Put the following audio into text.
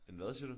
En hvad siger du?